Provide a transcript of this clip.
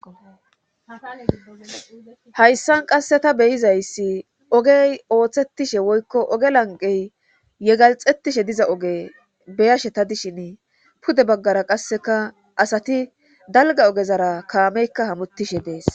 Hayssan qasse ta beyizayssi ogey ooththettishe woykko oge lanqey yegaxettishe diza oge beyashe ta dishin pude baggara qasseka asati dalga ogezara kaameykka hamuttishe dees